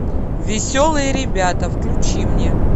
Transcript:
веселые ребята включи мне